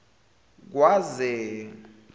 kwaze